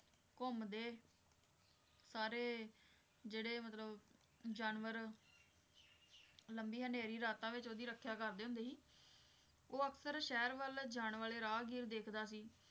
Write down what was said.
ਘੁੰਮਦੇ ਸਾਰੇ ਜਿਹੜੇ ਮਤਲਬ ਜਾਨਵਰ ਲੰਬੀ ਹਨੇਰੀ ਰਾਤਾਂ ਵਿੱਚ ਉਹਦੀ ਰੱਖਿਆ ਕਰਦੇ ਹੁੰਦੇ ਸੀ ਉਹ ਅਕਸਰ ਸ਼ਹਿਰ ਵੱਲ ਜਾਣ ਵਾਲੇ ਰਾਹਗੀਰ ਦੇਖਦਾ ਸੀ